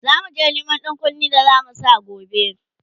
zamuje Neman ɗankunne da zamu Sa gobe